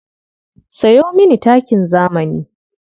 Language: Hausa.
Sayo mini takin zamani.